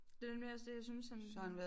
Det er nemlig også det jeg synes han